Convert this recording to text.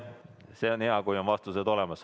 See on hea, kui on vastused olemas.